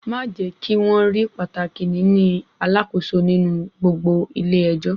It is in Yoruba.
Màá jẹ́ kí wọ́n rí pàtàkì níní alakoso nínú gbogbo ilé ẹjọ́.